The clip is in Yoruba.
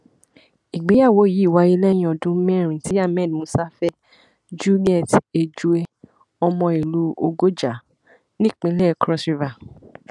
ìgbéyàwó yìí wáyé lẹyìn ọdún mẹrin tí ahmed musa fẹ juliet ejue ọmọ ìlú ọgọjà nípínlẹ crossriver